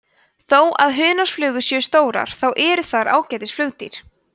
þó að hunangsflugur séu stórar þá eru þær ágætis flugdýr